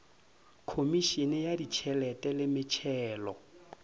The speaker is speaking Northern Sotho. khomišene ya ditšhelete le metšhelo